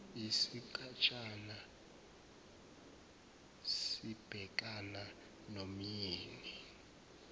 isigatshana sibhekana nomyeni